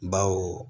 Bawo